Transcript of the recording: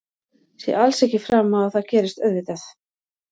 Sé alls ekki fram á að það gerist auðvitað.